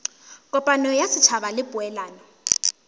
kopano ya setšhaba le poelano